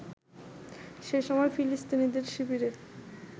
সেই সময় ফিলিস্তিনিদের শিবিরে